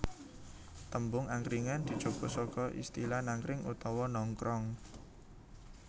Tembung angkringan dijupuk saka istilah nangkring utawa nongkrong